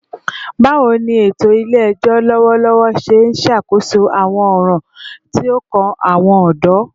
Bawo ni eto ile-ẹjọ lọwọlọwọ ṣe n ṣakoso awọn ọran ti o kan awọn ọdọ?